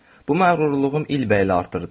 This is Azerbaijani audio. Bu məğrurluğum ilbəil artırdı.